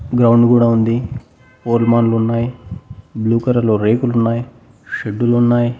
Ground గూడా ఉంది పోల్మాన్లు వున్నాయ్ బ్లూ కలర్లో రేకులు ఉన్నాయి షెడ్డులు ఉన్నాయి.